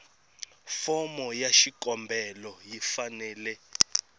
fomo ya xikombelo yi fanele